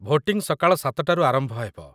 Voting ସକାଳ ୭ଟାରୁ ଆରମ୍ଭ ହେବ ।